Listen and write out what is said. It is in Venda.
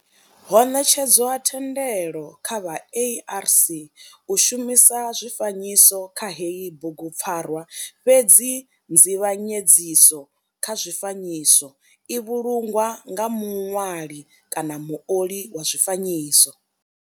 Ho netshedzwa thendelo kha vha ARC u shumisa zwifanyiso kha heyi bugupfarwa fhedzi nzivhanyedziso kha zwifanyiso i vhulungwa nga muṅwali kaanamuoli wa zwifanyiso.